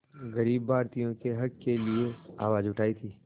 ग़रीब भारतीयों के हक़ के लिए आवाज़ उठाई थी